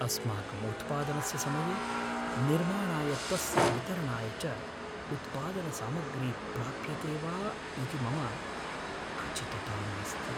अस्माकं उत्पानदस्य समये निर्माणाय तस्य वितरणाय च उत्पादनसामग्री प्राप्यते वा इति मम खचितता नास्ति।